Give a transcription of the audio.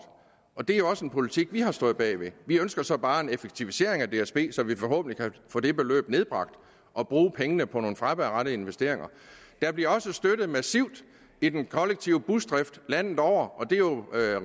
og det er også en politik vi har stået bag vi ønsker så bare en effektivisering af dsb så vi forhåbentlig kan få det beløb nedbragt og bruge pengene på nogle fremadrettede investeringer der bliver også støttet massivt i den kollektive busdrift landet over det er jo